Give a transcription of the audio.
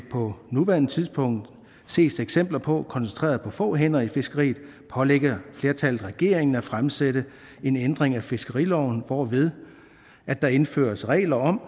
på nuværende tidspunkt ses eksempler på koncentreret på få hænder i fiskeriet og flertallet pålagde regeringen at fremsætte en ændring af fiskeriloven hvorved der indføres regler om